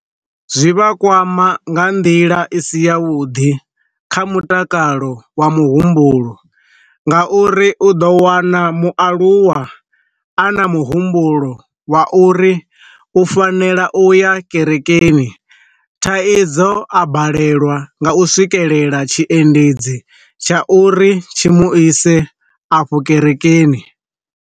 Zwivha kwama nga nḓila i si ya vhuḓi kha mutakalo wa muhumbulo, nga uri u ḓo wana mualuwa a na muhumbulo wa u uri u fanela u ya kerekeni thaidzo a balelwa nga u swikelela tshiendedzi tsha uri tshi mu ise afho kerekeni.